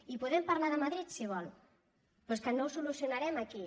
i po·dem parlar de madrid si vol però és que no ho solu·cionarem aquí